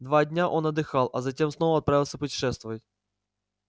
два дня он отдыхал а затем снова отправился путешествовать